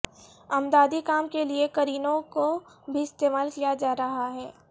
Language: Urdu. امدادی کام کے لیے کرینوں کو بھی استعمال کیا جا رہا ہے